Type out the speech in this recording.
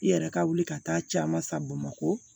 I yɛrɛ ka wuli ka taa caman sa bamakɔ